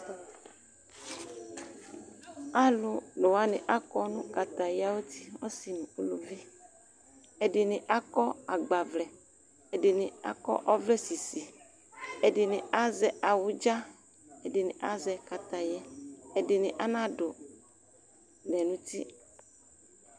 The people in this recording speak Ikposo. Alʊlʊwaɲi akɔ ɲʊ kataya ayʊti' Ɔsi ɲʊ ʊluvi, ediɲɩ akɔ agbavlɛ' ɛdiɲi akɔ ɔvlɛsisɩ Ɛdiɲi azɛ awʊdza Ɛdiɲi azɛ kataya' Ɛdɩɲɩ adʊ ɔvlɛ ɲʊti